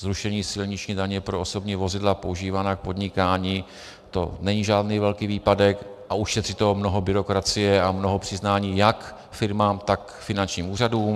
Zrušení silniční daně pro osobní vozidla používaná k podnikání, to není žádný velký výpadek a ušetří to mnoho byrokracie a mnoho přiznání jak firmám, tak finančním úřadům.